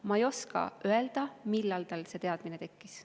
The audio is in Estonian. Ma ei oska öelda, millal tal see teadmine tekkis.